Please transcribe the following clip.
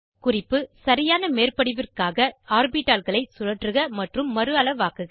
குறிப்பு சரியான மேற்படிவிற்காக ஆர்பிட்டால்களை சுழற்றுக மற்றும் மறுஅளவாக்குக